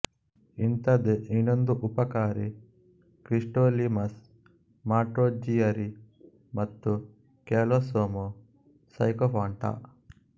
ಇಂಥದೇ ಇನ್ನೊಂದು ಉಪಕಾರಿ ಕ್ರಿಪ್ಟೋಲೀಮಸ್ ಮಾಂಟ್ರೋಜಿಯರಿ ಮತ್ತು ಕ್ಯಾಲೊಸೋಮ ಸೈಕೋಫಾಂಟ